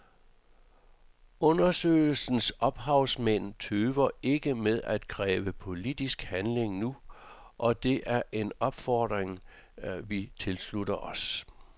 Undersøgelsens ophavsmænd tøver ikke med at kræve politisk handling nu, og det er en opfordring vi tilslutter os.